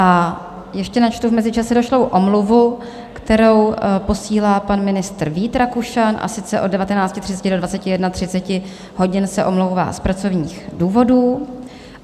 A ještě načtu v mezičase došlou omluvu, kterou posílá pan ministr Vít Rakušan, a sice od 19.30 do 21.30 hodin se omlouvá z pracovních důvodů.